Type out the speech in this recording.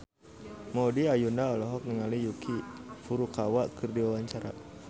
Maudy Ayunda olohok ningali Yuki Furukawa keur diwawancara